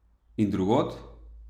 In drugod?